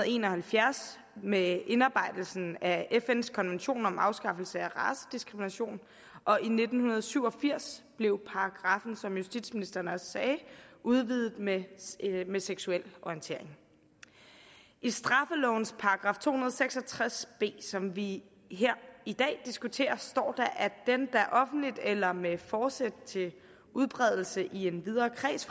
en og halvfjerds med indarbejdelsen af fns konvention om afskaffelse af racediskrimination og i nitten syv og firs blev paragraffen som justitsministeren også sagde udvidet med med seksuel orientering i straffelovens § to hundrede og seks og tres b som vi her i dag diskuterer står der den der offentligt eller med forsæt til udbredelse i en videre kreds